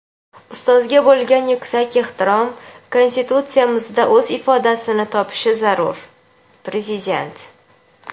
"Ustozga bo‘lgan yuksak ehtirom Konstitutsiyamizda o‘z ifodasini topishi zarur" — Prezident.